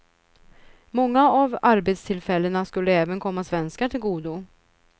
Många av arbetstillfällena skulle även komma svenskar till godo.